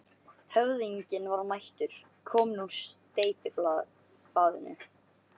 Höfðinginn var mættur, kominn úr steypibaðinu.